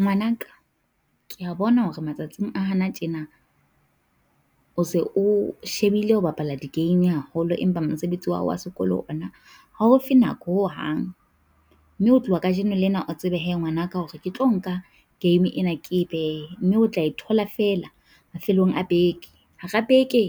Ngwanaka kea bona hore matsatsing a hana tjena, o se o shebile ho bapala di game haholo, empa mosebetsi wa hao wa sekolo ona, ha o fe nako ho hang. Mme ho tloha kajeno lena o tsebe hee ngwanaka hore ke tlo nka game ena, ke e behe, mme o tla e thola feela mafelong a beke. Hara beke